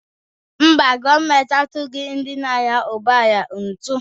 Mba, gọọmentị atughị ndị na-anya ụgbọ ala ụtụ